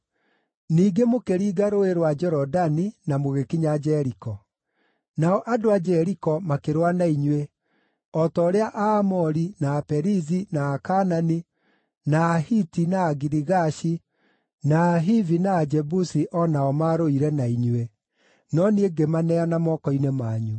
“ ‘Ningĩ mũkĩringa Rũũĩ rwa Jorodani na mũgĩkinya Jeriko. Nao andũ a Jeriko makĩrũa na inyuĩ, o ta ũrĩa Aamori, na Aperizi, na Akaanani, na Ahiti, na Agirigashi, na Ahivi, na Ajebusi o nao nĩmarũire na inyuĩ, no niĩ ngĩmaneana moko-inĩ manyu.